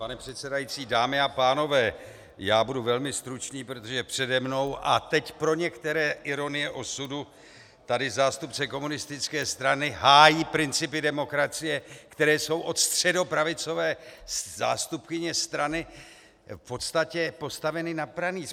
Pane předsedající, dámy a pánové, já budu velmi stručný, protože přede mnou - a teď pro některé ironie osudu - tady zástupce komunistické strany hájí principy demokracie, které jsou od středopravicové zástupkyně strany v podstatě postaveny na pranýř.